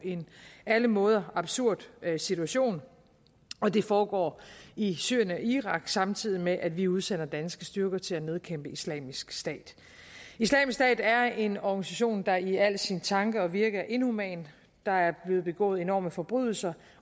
alle måder absurd situation og det foregår i syrien og irak samtidig med at vi udsender danske styrker til at nedkæmpe islamisk stat islamisk stat er en organisation der i al sin tanke og virke er inhuman der er blevet begået enorme forbrydelser